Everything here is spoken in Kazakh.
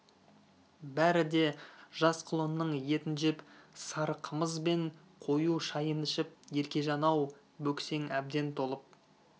бәрі де жас құлынның етін жеп сары қымыз бен қою шайын ішіп еркежан-ау бөксең әбден толып